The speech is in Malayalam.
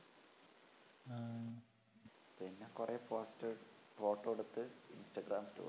പിന്നെ കൊറേ posters photo എടുത്തു instagram story